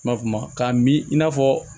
N m'a f'o ma k'a mi i n'a fɔ